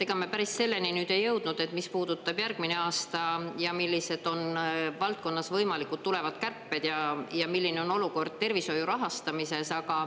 Ega me päris selleni ei jõudnud, mis puudutab järgmist aastat ja millised on valdkonnas võimalikud tulevad kärped ja milline on olukord tervishoiu rahastamises.